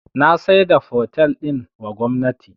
Na saida fotel din wa gwamnati